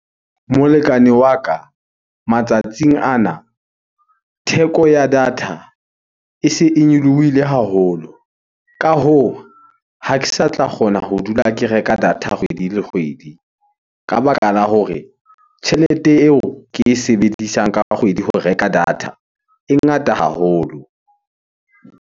Molekane wa ka, matsatsing ana theko ya data e se e nyolohile haholo. Ka hoo, ha ke sa tla kgona ho dula ke reka data kgwedi le kgwedi. Ka baka la hore tjhelete eo ke e sebedisang ka kgwedi ho reka data, e ngata haholo.